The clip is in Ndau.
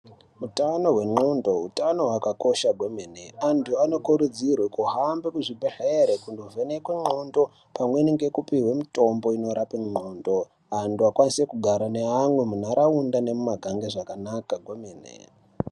Utano hwendxondo hutano hwakakosha kwemene antu anokurudzirwe kuhambe kuzvibhedhlere kundovhenekwe ndxondo pamweni ngekupiwe mitombo inorape ndxondo antu akwanise kugara neamwe mundaraunda nemumagange zvakanaka kwemene.